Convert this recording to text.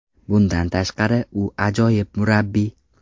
Bundan tashqari, u ajoyib murabbiy.